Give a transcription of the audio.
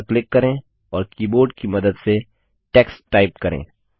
cell पर click करें और कीबोर्ड कि मदद से टेक्स्ट टाइप करें